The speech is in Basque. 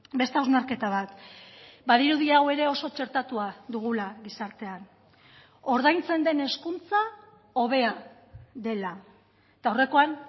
beste hausnarketa bat badirudi hau ere oso txertatua dugula gizartean ordaintzen den hezkuntza hobea dela eta aurrekoan